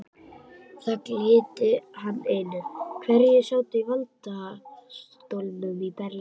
Það gilti hann einu, hverjir sátu í valdastólum í Berlín.